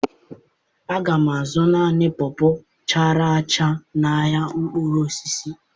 Aga m azụ naanị pọọ pọọ chara acha n'ahịa mkpụrụ osisi.